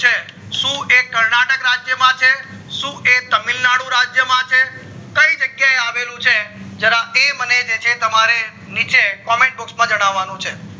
સુ એ કર્નાટક રાજ્ય માં છે, સુ એ તમિલનાડુ રાજ્ય માં છે, કય જગ્યા એ આવેલું છે જરા એ મને જે છે નીચે comment box જાણવાનું છે